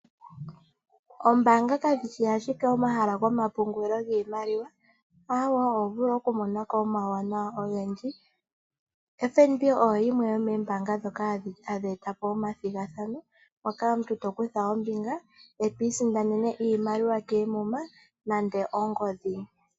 Oombaanga kadhishi ashike omahala gomapungulilo giimaliwa. Awo, oho vulu okumona omauwanawa ogendji. FNB oyo yimwe yomoombaanga ndhoka hadhi etapo omathigathano moka omuntu to kutha ombinga eto isindanene iimaliwa keemuma nande ongodhi.